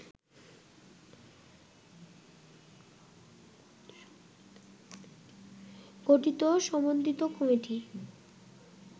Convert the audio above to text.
গঠিত সমন্বিত কমিটি